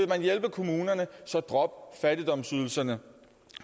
hjælpe kommunerne så drop fattigdomsydelserne